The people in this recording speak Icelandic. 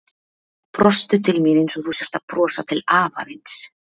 Brostu til mín einsog þú sért að brosa til afa þíns.